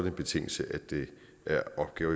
en betingelse at det er opgaver